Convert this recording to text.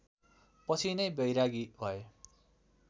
पछि यिनै बैरागी भए